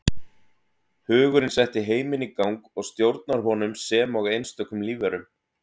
Hugurinn setti heiminn í gang og stjórnar honum sem og einstökum lífverum.